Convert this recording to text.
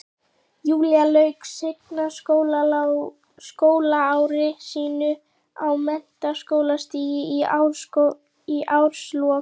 Júlía lauk seinna skólaári sínu á menntaskólastigi í árslok